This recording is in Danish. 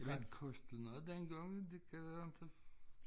Men kostede noget dengang det kan jeg inte